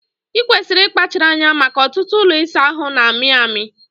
Ikwesịrị ịkpachara anya maka ọtụtụ ụlọ ịsa ahụ na-amị amị